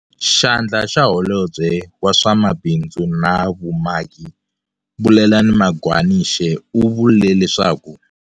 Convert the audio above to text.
Xandla xa Holobye wa swa Mabindzu na Vumaki, Bulelani Magwanishe u vule leswaku.